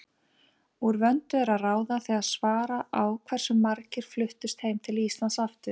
Úr vöndu er að ráða þegar svara á hversu margir fluttust heim til Íslands aftur.